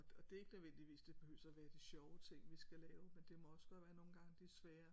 Og og det er ikke nødvendigvis det behøves at være de sjove ting vi skal lave men det må også godt være nogle gange de svære